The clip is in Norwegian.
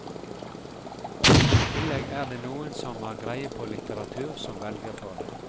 I tillegg er det noen som har greie på litteratur som velger for deg.